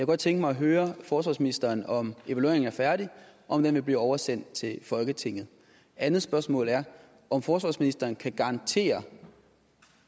godt tænke mig at høre forsvarsministeren om evalueringen er færdig og om den vil blive oversendt til folketinget andet spørgsmål er om forsvarsministeren kan garantere